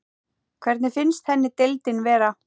Hvernig finnst henni deildin vera?